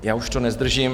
Já už to nezdržím.